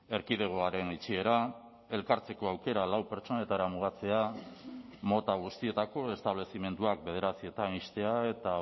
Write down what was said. erkidegoaren itxiera elkartzeko aukera lau pertsonetara mugatzea mota guztietako establezimenduak bederatzietan ixtea eta